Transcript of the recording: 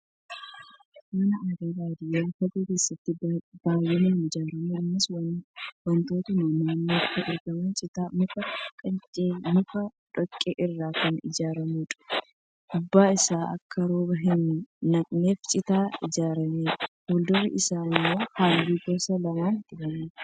Mana aadaa baadiyyaa fagoo keessatti baay'inaan ijaaramu. Innis wantootuma naannoitti argaman citaa, muka, quncee mukaafi dhoqqee irraa kan ijaaramuudha. Gubbaan isaa akka rooba hin naqneef citaan ajjerameera. Fuuldurri isaa immoo halluu gosa lama dibameera.